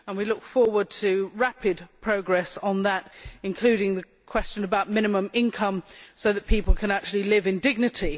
We look forward to rapid progress on that, including the question of minimum income, so that people can live in dignity.